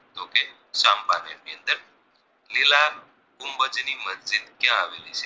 નીલા ગુંબજની મસ્જિદ ક્યાં આવેલી છે